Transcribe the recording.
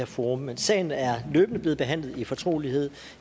forum men sagen er løbende blevet forhandlet i fortrolighed